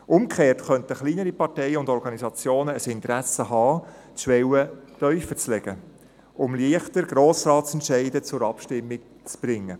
Umgekehrt könnten kleinere Parteien und Organisationen ein Interesse haben, die Schwelle tiefer zu legen, um Grossratsentscheide leichter zur Abstimmung zu bringen.